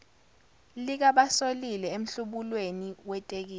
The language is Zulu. likabasolile emhlubulweni wetekisi